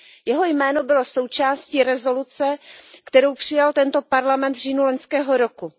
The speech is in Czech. Jeho jméno bylo součástí rezoluce, kterou přijal tento Parlament v říjnu loňského roku.